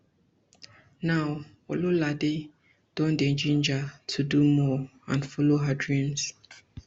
now ololade don dey ginger to do more and follow her dreams